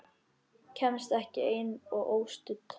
Kemst ekki ein og óstudd!